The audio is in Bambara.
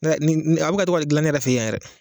A bɛ ka to ka dilan ne yɛyɛ fɛ yan yɛrɛ